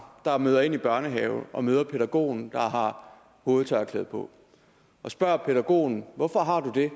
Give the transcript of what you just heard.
der møder ind i børnehaven og møder pædagogen der har hovedtørklæde på og spørger pædagogen hvorfor har du det